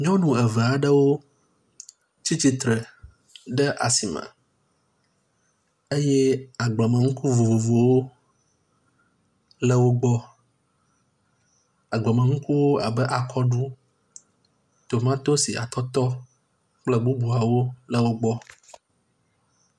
Nyɔnu eve aɖewo tsi tsitre ɖe asi me eye agbleme ŋku vovovowo le wo gbɔ. Agbleme ŋkuwo abe akɔɖu, tomatisi, atɔtɔ kple bubuawo le wo gbɔ.